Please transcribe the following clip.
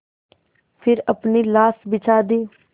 फिर अपनी लाश बिछा दी